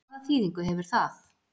Hvaða þýðingu hefur það?